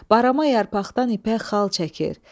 Barama yarpaqdan ipək xal çəkir.